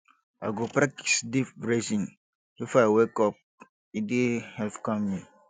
i go practice deep breathing if i wake up e dey help calm me